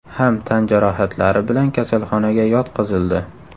ham tan jarohatlari bilan kasalxonaga yotqizildi.